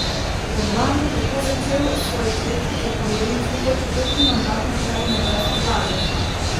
Orban bo tako začel svoj tretji zaporedni in skupaj četrti mandat na čelu madžarske vlade.